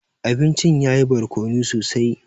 Abincin yayi barkono sosai.